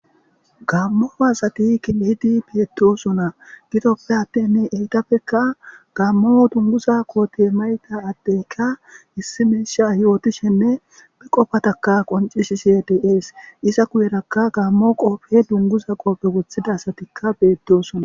Gammo assati shiqidi eqidi dossona enitapekka gammo dunuguza kote mayiza adeyikka yotishenne qofatta qoncisishe deyesi iza guyerakka dunguza qobe wothidda assati betosona.